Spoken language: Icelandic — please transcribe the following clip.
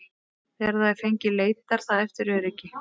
Þegar það er fengið leitar það eftir öryggi.